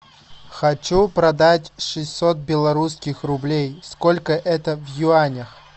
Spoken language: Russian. хочу продать шестьсот белорусских рублей сколько это в юанях